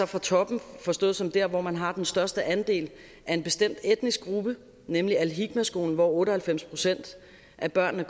fra toppen forstået som der hvor man har den største andel af en bestemt etnisk gruppe nemlig al hikma skolen hvor otte og halvfems procent af børnene